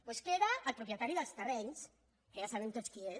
doncs queda el propietari dels terrenys que ja sabem tots qui és